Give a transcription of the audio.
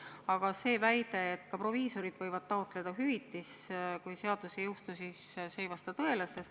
Aga see väide, et ka proviisorid võivad taotleda hüvitist, kui reformi ei tule, ei vasta tõele.